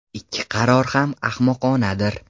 Ikki qaror ham ahmoqonadir.